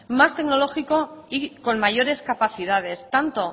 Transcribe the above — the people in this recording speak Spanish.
más tecnológico y con mayores capacidades tanto